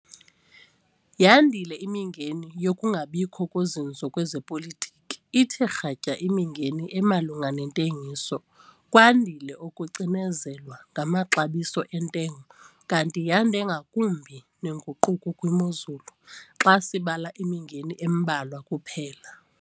YANDILE IMINGENI YOKUNGABIKHO KOZINZO KWEZEPOLITIKI, ITHE KRATYA IMINGENI EMALUNGA NENTENGISO, KWANDILE UKUCINEZELWA NGAMAXABISO ENTENGO KANTI YANDE NGAKUMBI NENGUQUKO KWIMOZULU, XA SIBALA IMINGENI EMBALWA KUPHELA.